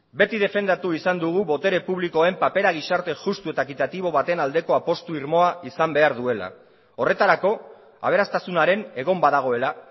beti defendatu izan dugu botere publikoen papera gizarte justu eta ekitatibo baten aldeko apustu irmoa izan behar duela horretarako aberastasunaren egon badagoela